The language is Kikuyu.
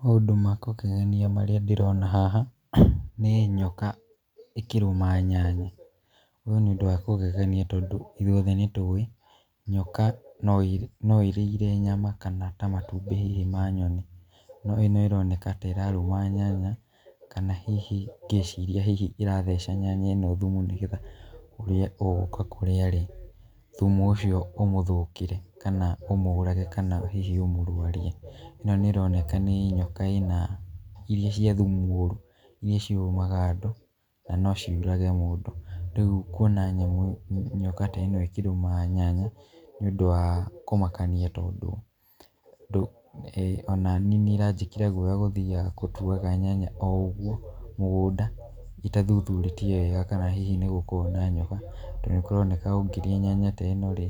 Maũndũ ma kũngegania marĩa ndĩrona haha nĩ nyoka ĩkĩrũma nyanya. Ũyũ nĩ ũndũ wa kũgegania tondũ ithuothe nĩtũĩ, nyoka no ĩrĩire nyama kana ta matumbĩ hihi ma nyoni. No ĩno ĩroneka ta ĩrarũma nyanya kana hihi ngeciria hihi ĩratheca nyanya ĩno thumu nĩgetha ũrĩa ũgũka kũrĩa-rĩ, thumu ũcio ũmũthũkĩre kana ũmũrage kana hihi ũmũrwarie. ĨNo nĩĩroneka nĩ nyoka ĩna, iria cia thumu mũru, iria cirũmaga andũ na no ciũrage mũndũ. Rĩu kuona nyamũ nyoka ta ĩno ĩkĩrũma nyanya, nĩũndũ wa kũmakania tondũ onaniĩ nĩ ĩranjĩkĩra guoya gũthiaga gũtuaga nyanya o ũguo mũgũnda, itathuthurĩtie wega kana hihi nĩgũkoragwo na nyoka, tondũ nĩkũroneka ũngĩrĩa nyanya ta ĩno-rĩ,